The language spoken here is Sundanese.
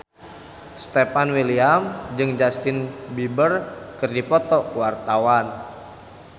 Stefan William jeung Justin Beiber keur dipoto ku wartawan